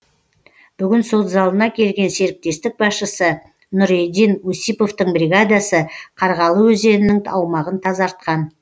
бүгін сот залына келген серіктестік басшысы нұредин усиповтың бригадасы қарғалы өзенінің аумағын тазартқан